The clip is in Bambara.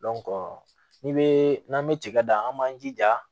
ni bee n'an be tiga dan an b'an jija